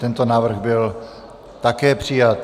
Tento návrh byl také přijat.